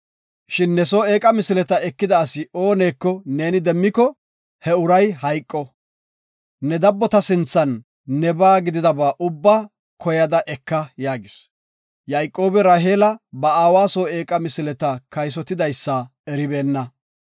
Shin ne soo eeqa misileta ekida asi oonaka neeni demmiko, he uray hayqo. Nu dabbota sinthan nebaa gididaba ubba koyada eka” yaagis. Yayqoobi Raheela ba aawa soo eeqa misileta kaysotidaysa eribeenna.